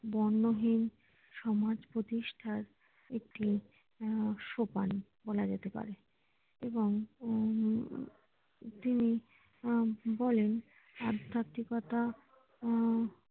বর্ণহীন সমাজ প্রতিষ্ঠার একটি উম সোপান বলা যেতে পারে এবং উম তিনি বলেন আধ্যাত্মিকতার উহ